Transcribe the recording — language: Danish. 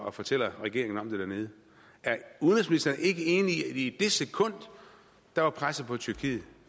og fortæller regeringen om det dernede er udenrigsministeren ikke enig i at i det sekund var presset på tyrkiet